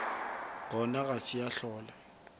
gona ga se ya hlola